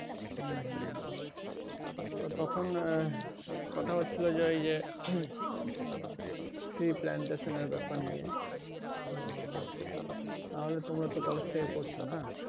হুম হুম তো তখন আহ কোথা হচ্ছিলো ওই যে সেই plantation এর ব্যাপার নিয়ে তো তাহলে তোমরা তো college থেকে করছো না?